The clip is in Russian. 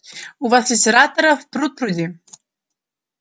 у вас литераторов пруд-пруди